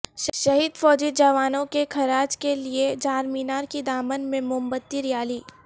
شہید فوجی جوانوں کے خراج کے لیے چارمینار کے دامن میں موم بتی ریالی